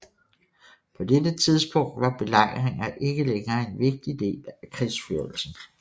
På dette tidspunkt var belejringer ikke længere en vigtig del af krigsførelsen